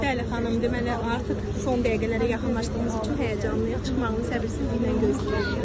Bəli, xanım, deməli artıq son dəqiqələrə yaxınlaşdığımız üçün həyəcanlıyıq, çıxmağını səbirsizliklə gözləyirik.